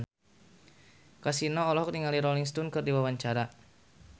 Kasino olohok ningali Rolling Stone keur diwawancara